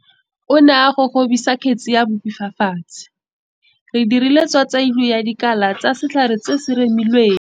O ne a gogobisa kgetsi ya bupi fa fatshe. Re dirile tswatswailô ya dikala tsa setlhare se se remilweng.